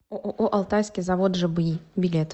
ооо алтайский завод жби билет